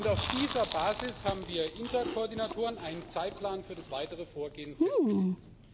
Auf dieser Basis haben wir Interkoordinatoren einen Zeitplan für das weitere Vorgehen festgelegt.